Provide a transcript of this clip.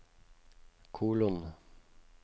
kolon